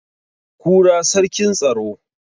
kura sarkin tsaro